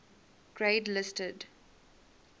grade listed